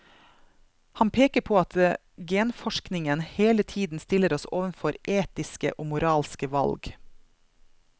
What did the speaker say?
Han peker på at genforskningen hele tiden stiller oss overfor etiske og moralske valg.